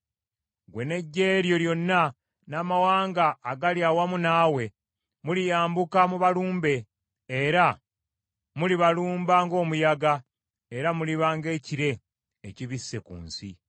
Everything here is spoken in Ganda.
Ggwe n’eggye lyo lyonna n’amawanga agali awamu naawe, muliyambuka mubalumbe, era mulibalumba ng’omuyaga, era muliba ng’ekire ekibisse ku nsi.